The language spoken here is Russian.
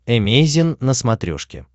эмейзин на смотрешке